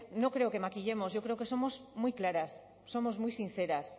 no creo que maquillemos yo creo que somos muy claras somos muy sinceras